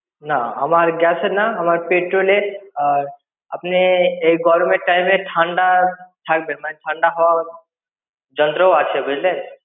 না আমার gas এর না আমার petrol এর আপনি এই গরমের time এ ঠান্ডা থাকবেন মানে ঠান্ডা হওয়ার যন্ত্র ও আছে বুঝলেন?